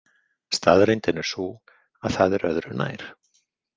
Staðreyndin er sú að það er öðru nær.